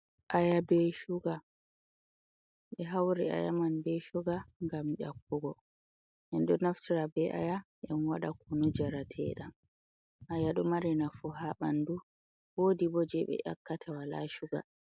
Aya bee shuga, ɓe hauri aya man bee shuga gam ƴakkugo. En ɗo naftira bee aya en waɗa kunu jarateeɗam. Aya ɗo mari nafu ha ɓandu. Woodi bo di je ɓe ƴakkata walaa shuga.